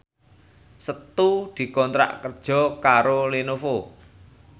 Setu dikontrak kerja karo Lenovo